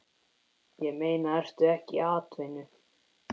Ég meina, ertu ekki atvinnu